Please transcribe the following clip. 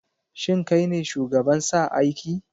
Shin kai ne shugaban sa aiki?